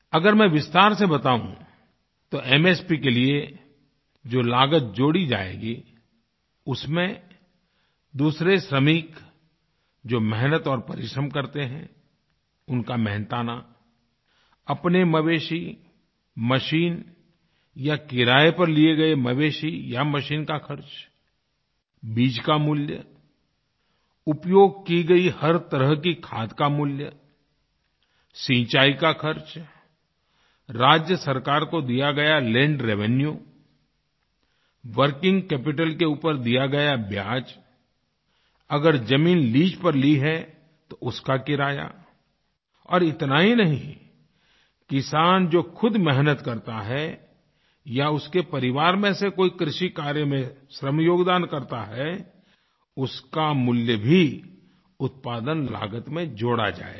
अगर मैं विस्तार से बताऊँ तो एमएसपी के लिए जो लागत जोड़ी जायेगी उसमें दूसरे श्रमिक जोमेहनत और परिश्रम करते हैं उनका मेहनताना अपने मवेशी मशीन या क़िराए पर लिए गए मवेशी या मशीन का ख़र्च बीज का मूल्य उपयोग की गयी हर तरह की खाद का मूल्य सिंचाई का ख़र्च राज्य सरकार को दिया गया लैंड रेवेन्यू वर्किंग कैपिटल के ऊपर दिया गया ब्याज़ अगर ज़मीन लीज पर ली है तो उसका किराया और इतना ही नहीं किसान जो ख़ुद मेहनत करता है या उसके परिवार में से कोई कृषि कार्य में श्रम योगदान करता है उसका मूल्य भी उत्पादन लागत में जोड़ा जाएगा